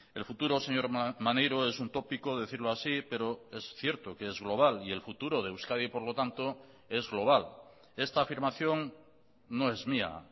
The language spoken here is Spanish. el futuro señor maneiro es un tópico decirlo así pero es cierto que es global y el futuro de euskadi por lo tanto es global esta afirmación no es mía